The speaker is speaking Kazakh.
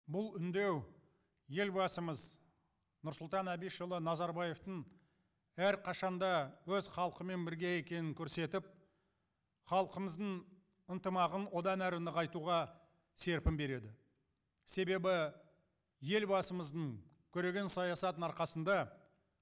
бұл үндеу елбасымыз нұрсұлтан әбішұлы назарбаевтың әрқашан да өз халқымен бірге екенін көрсетіп халқымыздың ынтымағын одан әрі нығайтуға серпін береді себебі елбасымыздың көреген саясатының арқасында